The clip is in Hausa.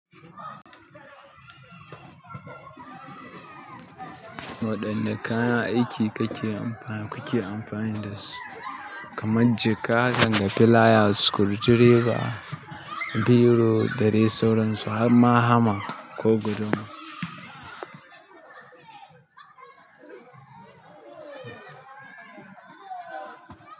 Waɗanne kayan aiki kuke amfani dasu kamar jaka haka da flayas, screwdriver, biro da dai sauransu har ma hama ko guduma?